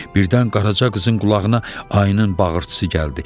Birdən Qaraca qızın qulağına ayının bağırtısı gəldi.